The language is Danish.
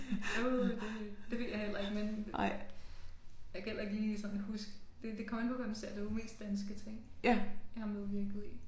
Åh det det ved jeg heller ikke men jeg kan heller ikke lige sådan huske det kommer an på hvad man ser det jo mest danske ting jeg har medvirket i